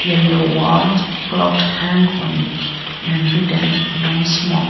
yellow walled clocked hang on it and written no smok--